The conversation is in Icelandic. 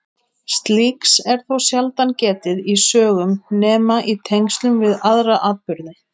Slíks er þó sjaldan getið í sögum nema í tengslum við aðra atburði.